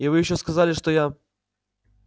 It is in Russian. и вы ещё сказали что я